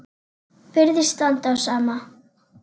Virðist standa á sama.